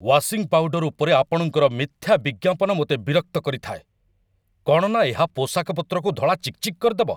Washing powder ଉପରେ ଆପଣଙ୍କର ମିଥ୍ୟା ବିଜ୍ଞାପନ ମୋତେ ବିରକ୍ତ କରିଥାଏ କ'ଣ ନା ଏହା ପୋଷାକ ପତ୍ରକୁ ଧଳା ଚିକ୍ ଚିକ୍ କରିଦେବ!